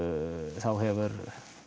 þá hefur